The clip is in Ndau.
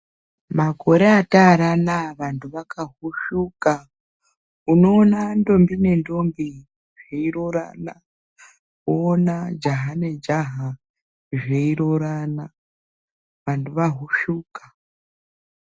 Makore ataari anaaya vantu vahusvuka. Unoona ndombi nendombi zveiroorana. Wowona jaha nejaha zveiroorana . Vantu vahusvuka.